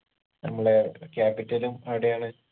നമ്മളെ capital ഉം അവിടെയാണ്